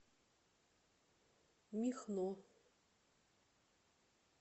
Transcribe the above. михно